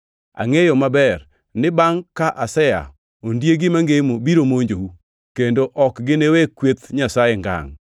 Angʼeyo maber ni bangʼ ka asea, ondiegi mangemo biro monjou, kendo ok giniwe kweth Nyasaye ngangʼ.